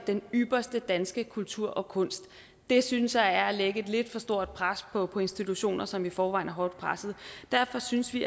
den ypperste danske kultur og kunst det synes jeg er at lægge et lidt for stort pres på på institutioner som i forvejen er hårdt presset derfor synes vi